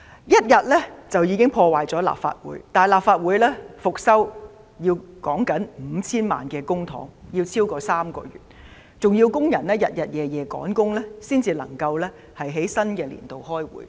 一天便已破壞立法會，但立法會復修需費 5,000 萬元公帑，需時超過3個月，更要工人日夜趕工才能在新會期開會。